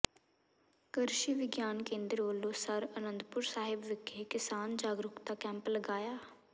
ਕਰ੍ਸ਼ੀ ਵਿਗਿਆਨ ਕੇਂਦਰ ਵਲੋਂ ਸਰ੍ ਅਨੰਦਪੁਰ ਸਾਹਿਬ ਵਿਖੇ ਕਿਸਾਨ ਜਾਗਰੂਕਤਾ ਕੈਂਪ ਲਗਾਇਆ